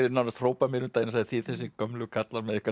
nánast hróp að mér um daginn og sagði þið þessir gömlu kallar með ykkar